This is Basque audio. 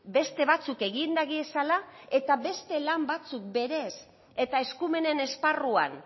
beste batzuk egin dagiezala eta beste lan batzuk berez eta eskumenen esparruan